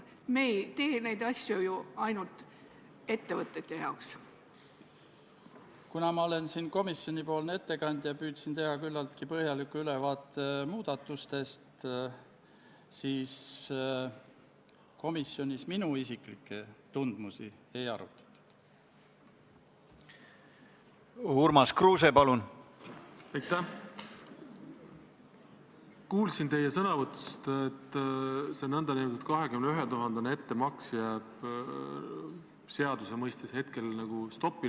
See mandaat on lihtsalt selleks juhuks, kui Vabariigi Valitsusel tekib äkiline vajadus saata kaitseväelasi sõjalisele operatsioonile, mille algatab kas ÜRO, NATO, Euroopa Liit või mõni meie liitlasriik ja kuhu me peame vajalikuks oma osalusega panustada.